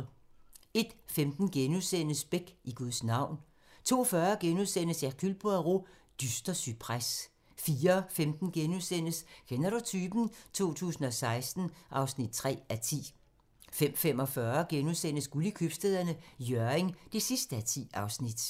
01:15: Beck: I Guds navn * 02:40: Hercule Poirot: Dyster cypres * 04:15: Kender du typen? 2016 (3:10)* 05:45: Guld i Købstæderne - Hjørring (10:10)*